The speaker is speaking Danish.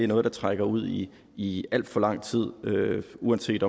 noget der trækker ud i i al for lang tid uanset